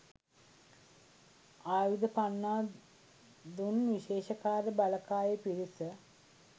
ආයුධ පන්නා දුන් විශේෂකාර්ය බලකායේ පිරිස